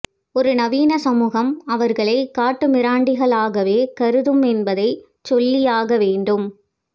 ஒரு நவீன சமூகம் அவர்களை காட்டுமிராண்டிகளாகவே கருதும் என்பதைச் சொல்லியாகவேண்டும்